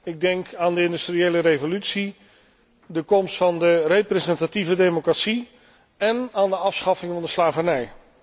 Ik denk aan de industriële revolutie, de komst van de representatieve democratie en aan de afschaffing van de slavernij.